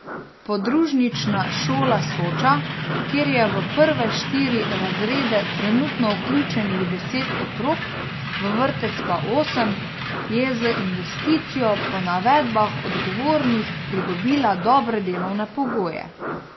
Podružnična šola Soča, kjer je v prve štiri razrede trenutno vključenih deset otrok, v vrtec pa osem, je z investicijo po navedbah odgovornih pridobila dobre delovne pogoje.